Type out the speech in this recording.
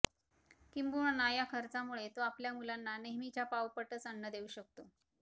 किंबहुना या खर्चामुळे तो आपल्या मुलांना नेहमीच्या पाव पटच अन्न देऊ शकतो